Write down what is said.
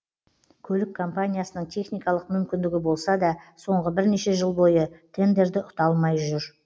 көлік компаниясының техникалық мүмкіндігі болса да соңғы бірнеше жыл бойы тендерді ұта алмай жүр